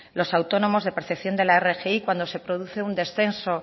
los autónomos de percepción de la rgi cuando se produce un descenso